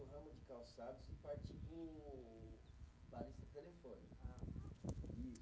calçados e parti para o, para a lista telefônica.